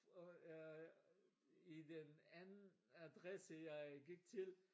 Og jeg i den anden adresse jeg gik til